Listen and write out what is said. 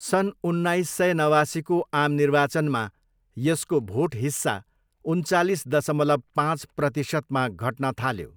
सन् उन्नाइस सय नवासीको आम निर्वाचनमा यसको भोट हिस्सा उन्चालिस दशमलव पाँच प्रतिशतमा घट्न थाल्यो।